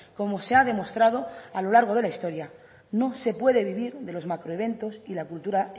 como se ha demostrado a lo largo de la historia no se puede vivir de los macroeventos y la cultura